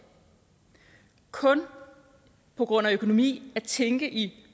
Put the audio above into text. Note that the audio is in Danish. kun på grund af økonomi at tænke i